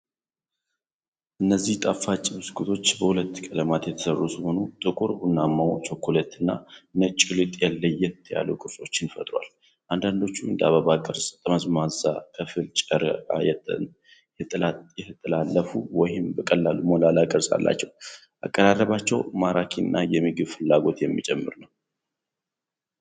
እነዚህ ጣፋጭ ብስኩቶች በሁለት ቀለማት የተሰሩ ሲሆን፣ ጥቁር ቡናማው (ቸኮሌት) እና ነጩ ሊጥ ለየት ያሉ ቅርጾችን ፈጥረዋል። አንዳንዶቹ እንደ አበባ ቅርጽ፣ ጠመዝማዛ፣ ከፊል-ጨረቃ፣ የተጠላለፉ፣ ወይም በቀላሉ ሞላላ ቅርፅ አላቸው። አቀራረባቸው ማራኪና የምግብ ፍላጎት የሚጨምር ነው።